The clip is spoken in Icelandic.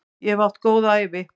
Ég hef átt góða ævi.